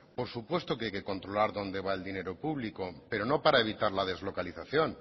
por supuesto que hay que controlar dónde va el dinero público pero no para evitar la deslocalización